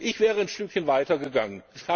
Ich wäre ein Stückchen weiter gegangen.